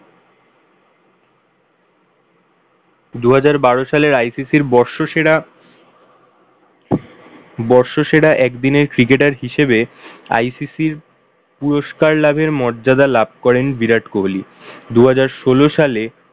দুহাজার বারো সালে ICC র বর্ষসেরা বর্ষসেরা এক দিনের cricketer হিসাবে ICC র পুরস্কার লাভের মর্যাদা লাভ করেন বিরাট কোহলি। দুহাজার ষোল সালে